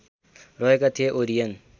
रहेका थिए ओरियन